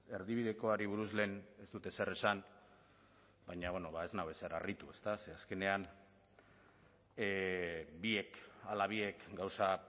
erdibidekoari buruz lehen ez dut ezer esan baina ez nau ezer harritu ezta ze azkenean biek ala biek gauza